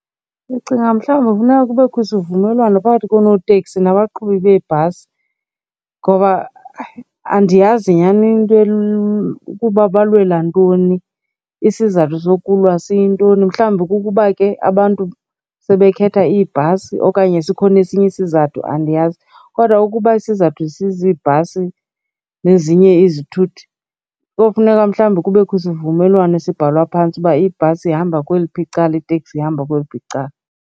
Ndicinga mhlawumbi kufuneka kubekho isivumelwano phakathi koonoteksi nabaqhubi beebhasi. Ngoba ayi andiyazi nyhani into ukuba balwela ntoni, isizathu sokulwa siyintoni. Mhlawumbi kukuba ke abantu sebekhetha iibhasi okanye sikhona esinye isizathu, andiyazi. Kodwa ukuba isizathu siziibhasi nezinye izithuthi, kofuneka mhlawumbi kubekho isivumelwano sibhalwa phantsi uba ibhasi ihamba kweliphi icala, iteksi ihamba kweliphi icala.